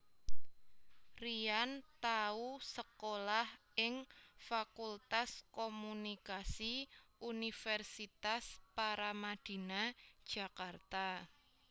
Ryan tau sekolah ing Fakultas Komunikasi Universitas Paramadina Jakarta